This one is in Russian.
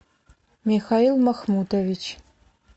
михаил махмутович